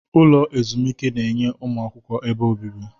Ụlọ ezumike na-enye ụmụ akwụkwọ ebe obibi.